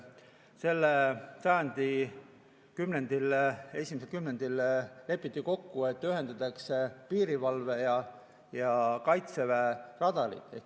Selle sajandi esimesel kümnendil lepiti kokku, et ühendatakse piirivalve ja Kaitseväe radarid.